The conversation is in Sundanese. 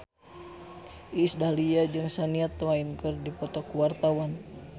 Iis Dahlia jeung Shania Twain keur dipoto ku wartawan